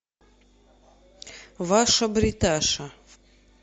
ваша бриташа